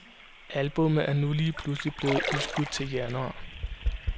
Albummet er nu lige pludselig blevet udskudt til januar.